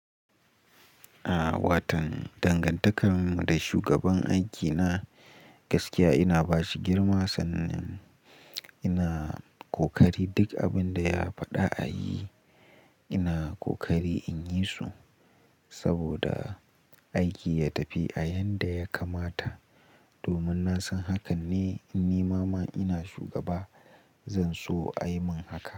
Watan dangantakar mu da shugaban aikina gaskiya ina bashi girma sannan ina ƙoƙari duk abin da ya faɗa a yi ina ƙoƙari in yi su saboda aiki ya tafi a yanda ya kamata. Domin na san hakan ne in nima in ina shugaba zan so a yi min haka.